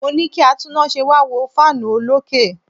Mo ní kí atúnnáse wá wo fan olókè.